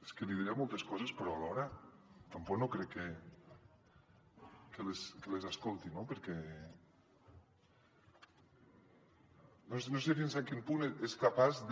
és que li diria moltes coses però alhora tampoc no crec que les escolti no perquè no sé fins a quin punt és capaç de